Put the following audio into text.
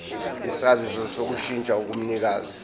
isaziso sokushintsha komnikazi